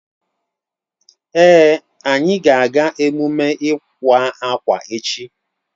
Èé, anyị ga-aga emume iwa akwa echi.